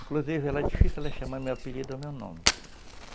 Inclusive, era difícil ela chamar meu apelido ou meu nome.